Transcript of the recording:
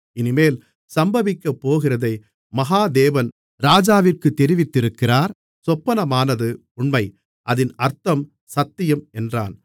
இனிமேல் சம்பவிக்கப்போகிறதை மகா தேவன் ராஜாவிற்குத் தெரிவித்திருக்கிறார் சொப்பனமானது உண்மை அதின் அர்த்தம் சத்தியம் என்றான்